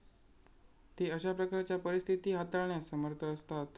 ते अशा प्रकारच्या परिस्थिती हाताळण्यास समर्थ असतात.